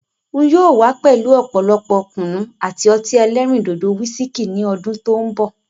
N yóò wà pẹ̀lú ọ̀pọ̀lọpọ̀ Kùnú àti ọtí ẹlẹ́rìndòdò "Wisikí" ni ọdún tòun bọ̀.